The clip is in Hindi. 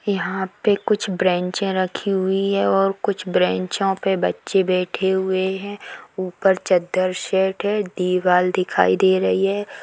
यहाँ पे कुछ ब्रेंचे रखी हुई है और कोई कुछ ब्रेंचो पे बच्चे बेठे हुए हैं ऊपर चद्दर सेट है दिवार दिखाई दे रही है।